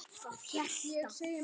Það held ég að.